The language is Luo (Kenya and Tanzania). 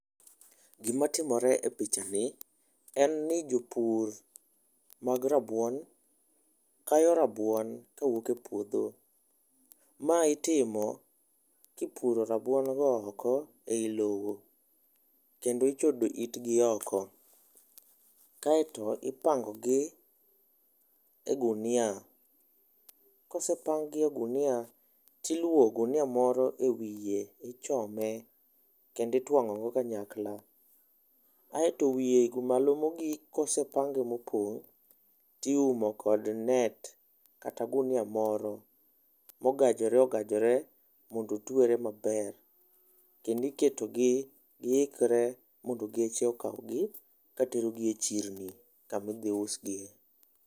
Gima timore e pichani en ni jopur mag rabuon kayo rabuon kawuok e puodho. Mae itimo kipuro rabuon go oko ei lowo kendo ichodo itgi oko. Kae to ipango gi e gunia. Kosepang gi e gunia tiluo gunia moro ewiye ichome kendi twang'o gi kanyakla asto wiye malo mogik . Kosepange mopong' tiumo kod net kata gunia moro mogajore ogajore kondo otwere maber kendi ketogi giikre mondo geche okawgi katerogi e chirni kami dhi usigie.